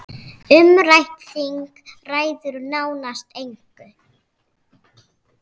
Umrætt þing ræður nánast engu.